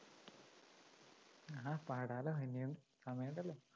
ആ പാടാല്ലോ ഇനിയും സമയമുണ്ടല്ലോ